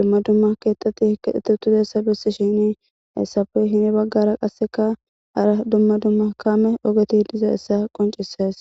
dumma dumma keetati keexethiutudaysa bessishini heyssape hini baggara qasseka hara dumma dumma kaame ogoti dizaysa qoncisees.